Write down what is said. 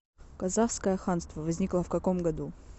казахское ханство возникло в каком году